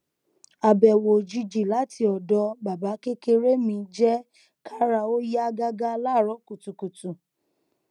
abẹwo ojiji lati ọdọ baba kekere mi jẹ kara o ya gaga laaarọ kutukutu